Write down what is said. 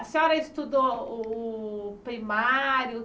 A senhora estudou o o o primário